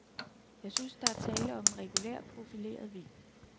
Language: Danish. Jeg synes, der er tale om en regulær, profileret vin.